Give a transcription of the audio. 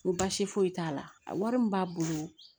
N ko baasi foyi t'a la a wari min b'a bolo